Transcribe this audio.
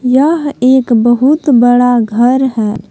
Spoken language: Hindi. यह एक बहुत बड़ा घर है।